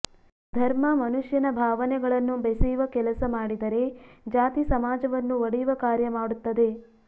ಧರ್ಮ ಮನುಷ್ಯನ ಭಾವನೆಗಳನ್ನು ಬೆಸೆಯುವ ಕೆಲಸ ಮಾಡಿದರೆ ಜಾತಿ ಸಮಾಜವನ್ನು ಒಡೆಯುವ ಕಾರ್ಯ ಮಾಡುತ್ತದೆ